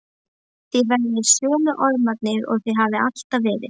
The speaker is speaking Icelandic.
Þið verðið sömu ormarnir og þið hafið alltaf verið.